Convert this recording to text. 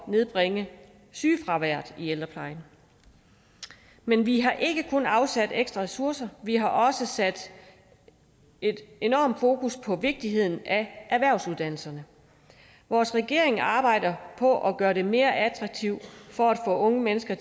nedbringe sygefraværet i ældreplejen men vi har ikke kun afsat ekstra ressourcer vi har også sat en enorm fokus på vigtigheden af erhvervsuddannelserne vores regering arbejder helt på at gøre det mere attraktivt for unge mennesker